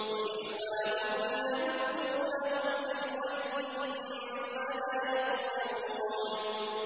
وَإِخْوَانُهُمْ يَمُدُّونَهُمْ فِي الْغَيِّ ثُمَّ لَا يُقْصِرُونَ